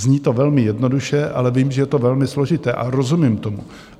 Zní to velmi jednoduše, ale vím, že je to velmi složité, a rozumím tomu.